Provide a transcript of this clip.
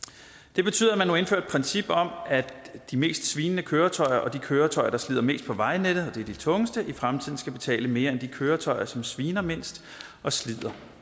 det betyder at man nu indfører et princip om at de mest svinende køretøjer og de køretøjer der slider mest på vejnettet og det er de tungeste i fremtiden skal betale mere end de køretøjer som sviner mindst og slider